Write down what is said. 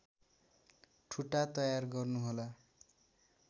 ठुटा तयार गर्नुहोला